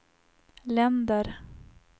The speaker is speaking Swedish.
länder